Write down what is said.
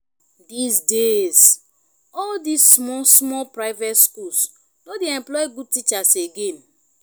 dis days all this small small private schools no dey employ good teachers again